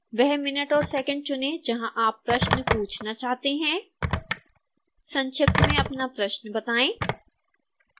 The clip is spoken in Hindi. वह मिनट और सेकेंड चुनें जहां आप प्रश्न पूछना चाहते हैं संक्षिप्त में अपना प्रश्न बताएं